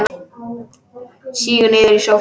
Sígur niður í sófann.